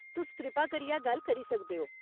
तुस कृपा करियै गल्ल करी सकदे ओ।